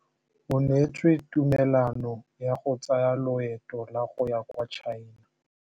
O neetswe tumalanô ya go tsaya loetô la go ya kwa China.